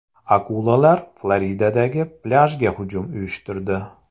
Akulalar Floridadagi plyajga hujum uyushtirdi .